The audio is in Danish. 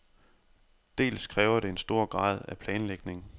Dels kræver det en stor grad af planlægning.